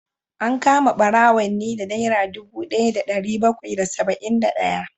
An kama barawon ne da naira dubu daya da dari bakwai da saba’in da daya